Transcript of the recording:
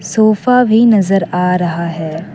Sofa भी नजर आ रहा है।